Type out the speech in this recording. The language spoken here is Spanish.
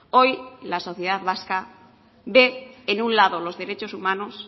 hoy la sociedad vasca ve en un lado los derechos humanos